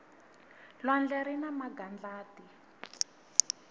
lwandle rina magadlati